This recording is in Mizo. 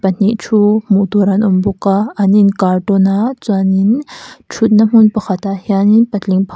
pahnih thu hmuh tur an awm bawk a an inkar tawn a chuanin thutna hmun pakhatah hianin patling --